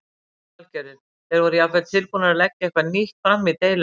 Lillý Valgerður: Þeir voru jafnvel tilbúnir að leggja eitthvað nýtt fram í deilunni?